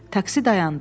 Taksi dayandı.